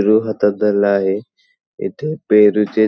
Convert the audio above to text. पेरू हातात धरला आहे इथ पेरूचे--